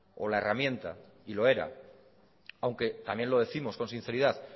o la herramienta y lo era aunque también lo décimos con sinceridad